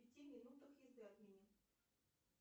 в пяти минутах езды от меня